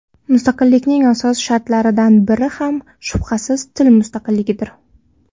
Mustaqillikning asos shartlaridan biri ham, shubhasiz, til mustaqilligidir.